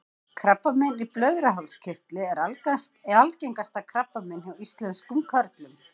krabbamein í blöðruhálskirtli er algengasta krabbamein hjá íslenskum körlum